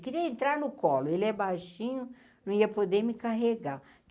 Queria entrar no colo, ele é baixinho, não ia poder me carregar.